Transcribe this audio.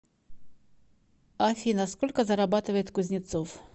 афина сколько зарабатывает кузнецов